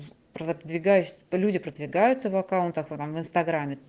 продвигаюсь люди продвигаются в аккаунтах в инстаграме